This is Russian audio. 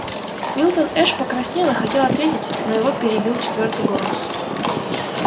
милтон эш покраснел и хотел ответить но его перебил четвёртый голос